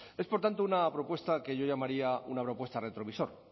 es por tanto una propuesta que yo llamaría una propuesta retrovisor